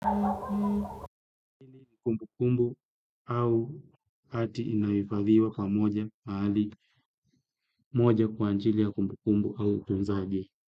Kumbukumbu au hati inayohifadhiwa pamoja mahali moja kwa ajili ya kumbukumbu au utunzaji.